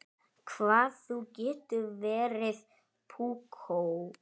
Hvað þú getur verið púkó!